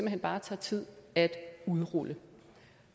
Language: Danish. hen bare tager tid at udrulle